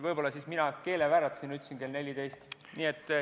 Võib-olla mul keel vääratas ja ma ütlesin kell 14.